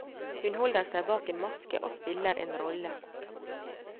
Hun holder seg bak en maske og spiller en rolle.